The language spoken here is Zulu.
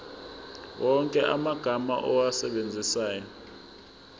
wonke amagama owasebenzisayo